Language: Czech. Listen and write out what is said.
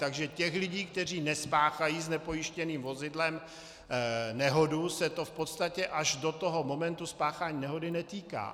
Takže těch lidí, kteří nespáchají s nepojištěným vozidlem nehodu, se to v podstatě až do toho momentu spáchání nehody netýká.